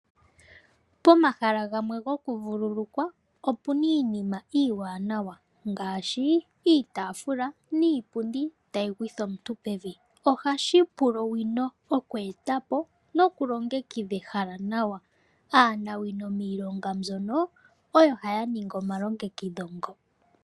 Pomahala gamwe gokuvululukwa opu na iinima iiwananawa, ngaashi iitafula niipundi tayi gwitha omuntu pevi. Ohashi pula owino oku eta po, nokulongekidha ehala nawa.